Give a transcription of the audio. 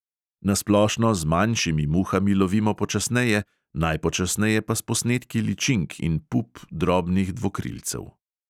Na splošno z manjšimi muhami lovimo počasneje, najpočasneje pa s posnetki ličink in pup drobnih dvokrilcev.